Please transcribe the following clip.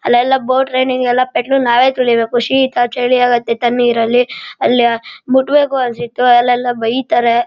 ಅಲ್ಲೆಲ್ಲ boat training ಎಲ್ಲ petrol ನಾವೇ ತೊಳಿಬೇಕು ಶೀತ ಚಳಿ ಯಾಗುತ್ತೆ.